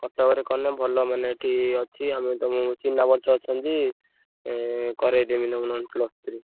କଟକରେ କଲେ ଭଲ ମାନେ ଏଠି ଅଛି ଆମ ତମୁକୁ ଚିହ୍ନା ପରିଚୟ ଅଛନ୍ତି ଏଁ କରେଇଦେବି ନହେଲେ ତମ plus three ।